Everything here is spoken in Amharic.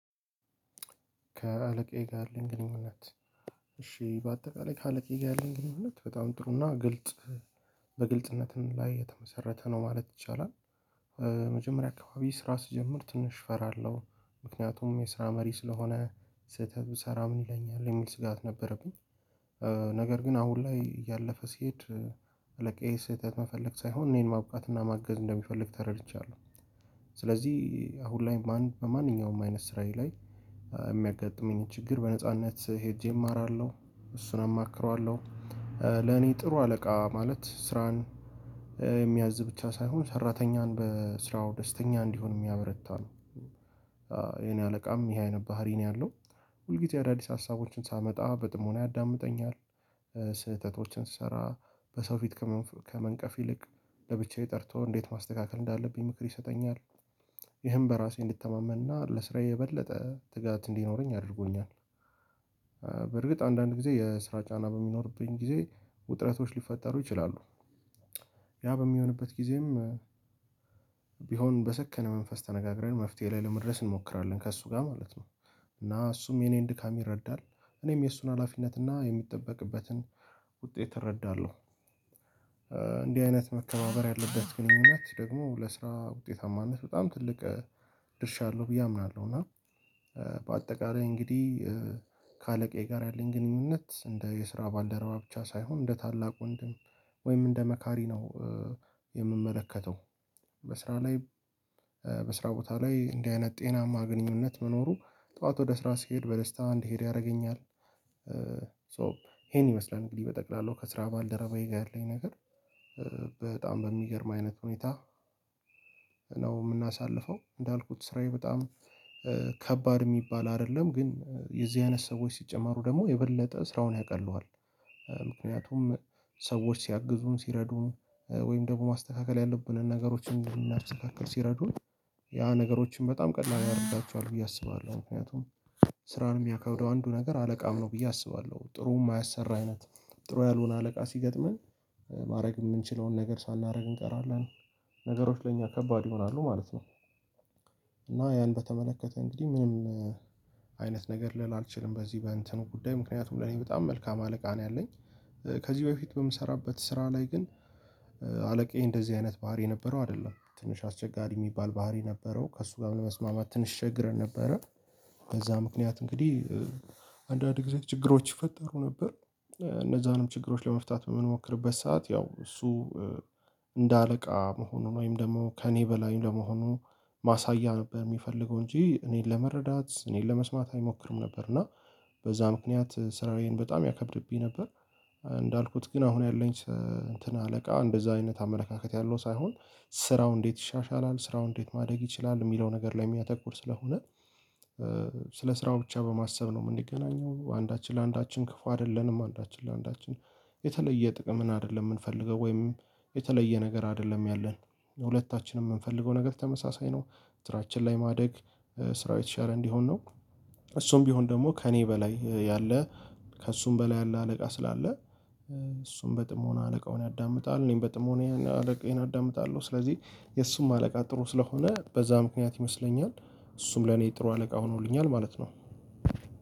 ከአለቃዬ ጋር ያለኝ ግንኙነት እሺ በአጠቃላይ ከአለቃዬ ጋር ያለኝ ግንኙነት በጣም ጥሩና ግልጽ በግልጽነትን ላይ የተመሰረተ ነው ማለት ይቻላል፤ መጀመሪያ አካባቢ ስራ ስጀምር ትንሽ እፈራለሁ። ምክንያቱም የስራ መሪ ስለሆነ ስህተት ብሰራ ምን ይለኛል የሚል ስጋት ነበረብኝ ነገር ግን አሁን ላይ እያለፈ ሲሄድ አለቃዬ ስህተት መፈለግ ሳይሆን እኔን ማብቃት እና ማገዝ እንደሚፈልግ ተረድቻለሁ። ስለዚህ አሁን ላይ በማንኛውም አይነት ስራዬ ላይ የሚያጋጥመኝን ችግር በነጻነት ሄጄ እማራለሁ እሱን አማክረዋለሁ። ለኔ ጥሩ አለቃ ማለት ስራን የሚያዝ ብቻ ሳይሆን ሰራተኛን በስራው ደስተኛ እንዲሆን የሚያበረታ ነው። የኔ አለቃም ይሄ አይነት ባህሪ ነው ያለው። ሁልጊዜ አዳዲስ ሀሳቦችን ሳመጣ በጥሞና ያዳምጠኛል። ስህተቶችን ስሰራ በሰው ፊት ከመንቀፍ ይልቅ ለብቻዬ ጠርቶ እንዴት ማስተካከል እንዳለብኝ ምክር ይሰጠኛል። ይህም በራሴ እንድተማመንና ለስራዬ የበለጠ ትጋት እንዲኖረኝ አድርጎኛል። በርግጥ አንዳንድ ጊዜ የስራ ጫና በሚኖርብኝ ጊዜ ውጥረቶች ሊፈጠሩ ይችላሉ። ያ በሚሆንበት ጊዜም ቢሆን በሰከነ መንፈስ ተነጋግረን መፍትሄ ላይ ለመድረስ እንሞክራለን ከእሱ ጋር ማለት ነው። እና እሱም የኔን ድካም ይረዳል። እኔም የእሱን ሀላፊነት እና የሚጠበቅበትን ውጤት እረዳለሁ። እንዲህ አይነት መከባበር ያለበት ግንኙነት ደግሞ ለስራ ውጤታማነት በጣም ትልቅ ድርሻ አለው ብዬ አምናለሁ። እና በአጠቃላይ እንግዲህ ከአለቃዬ ጋር ያለኝ ግንኙነት እንደ የስራ ባልደረባ ብቻ ሳይሆን እንደ ታላቁ ወንድም ወይም እንደ መካሪ ነው። የምመለከተው በስራ ላይ በስራ ቦታ ላይ እንደዚህ አይነት ጤናማ ግንኙነት መኖሩ ጠዋት ወደ ስራ ሲሄድ በደስታ እንዲሄድ ያደርገኛል። ሶ ይሄን ይመስላል እንግዲህ በጠቅላላው ከስራ ባልደረባዬ ጋር ያለኝ ነገር በጣም በሚገርም አይነት ሁኔታ ነው የምናሳልፈው። እንዳልኩት ስራዬ በጣም ከባድ የሚባል አይደለም ግን የዚህ አይነት ሰዎች ሲጨመሩ ደግሞ የበለጠ ስራውን ያቀለዋል። ምክንያቱም ሰዎች ሲያግዙን ሲረዱን ወይም ደግሞ ማስተካከል ያለብንን ነገሮችን እንዲናስተካክል ሲረዱን ያ ነገሮችን በጣም ቀድማ ያደርጋቸዋል ብዬ አስባለሁ። ምክንያቱም ስራን የሚያከብደው አንዱ ነገር አለቃም ነው ብዬ አስባለሁ። ጥሩ የማያሰራ አይነት ጥሩ ያልሆነ አለቃ ሲገጥመን ማድረግ የምንችለውን ነገር ሳናደርግ እንቀራለን ነገሮች ለእኛ ከባድ ይሆናሉ ማለት ነው። እና ያን በተመለከተ እንግዲህ ምንም አይነት ነገር ልል አልችልም በዚህ በእንትኑ ጉዳይ ምክንያቱም ለኔ በጣም መልካም አለቃ ነው ያለኝ። ከዚህ በፊት በምሰራበት ስራ ላይ ግን አለቃዬ እንደዚህ አይነት ባህሪ የነበረው አይደለም። ትንሽ አስቸጋሪ የሚባል ባህሪ ነበረው። ከእሱ ጋር ለመስማማት ትንሽ ተቸግረን ነበረ። በዛ ምክንያት እንግዲህ አንዳንድ ጊዜ ችግሮች ይፈጠሩ ነበር። እነዛንም ችግሮች ለመፍታት የምንሞክርበት ሰዓት ያው እሱ እንደ አለቃ መሆኑን ወይም ደግሞ ከእኔ በላይ ለመሆኑ ማሳያ ነበር የሚፈልገው እንጂ እኔን ለመረዳት እኔን ለመስማት አይሞክርም ነበር። እና በዛ ምክንያት ስራዬን በጣም ያከብድብኝ ነበር። እንዳልኩት ግን አሁን ያለኝ እንትን አለቃ እንደዛ አይነት አመለካከት ያለው ሳይሆን ስራው እንዴት ይሻሻላል ስራው እንዴት ማደግ ይችላል የሚለው ነገር ላይ የሚያተኩር ስለሆነ ስለ ስራው ብቻ በማሰብ ነው የምንገናኘው አንዳችን ለአንዳችን ክፉ አይደለንም አንዳችን ለአንዳችን የተለየ ጥቅም አይደለም የምንፈልገው። ወይም የተለየ ነገር አይደለም ያለን። ሁለታችንም የምንፈልገው ነገር ተመሳሳይ ነው። ስራችን ላይ ማደግ ስራው የተሻለ እንዲሆን ነው። እሱም ቢሆን ደግሞ ከእኔ በላይ ያለ ከእሱም በላይ ያለ አለቃ ስላለ እሱም በጥሞና አለቃውን ያዳምጣል እኔም በጥሞና አለቃዬን አዳምጣለሁ። ስለዚህ የእሱም አለቃ ጥሩ ስለሆነ በዛ ምክንያት ይመስለኛል እሱም ለኔ ጥሩ አለቃ ሆኖልኛል ማለት ነው።